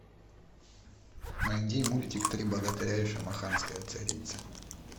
найди мультик три богатыря и шамаханская царица